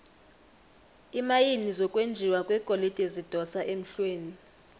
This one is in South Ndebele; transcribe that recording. iimayini zokwenjiwa kwegolide zidosa emhlweni